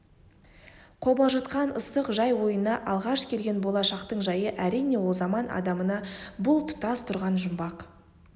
қобалжытқан ыстық жай ойына алғаш келген болашақтың жайы әрине ол заман адамына бұл тұтас тұрған жұмбақ